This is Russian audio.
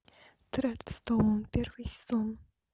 дредстоун первый сезон